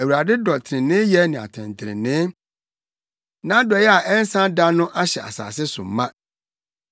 Awurade dɔ treneeyɛ ne atɛntrenee. Nʼadɔe a ɛnsa da no ahyɛ asase so ma.